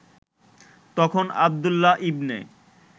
তখন আবদুল্লাহ ইবনে